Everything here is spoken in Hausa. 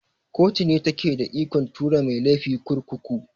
Koto ne take da ikon tura mai laifi kurkuku.